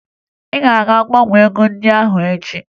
Ị ga-aga gbanwee ego ndị ahụ echi!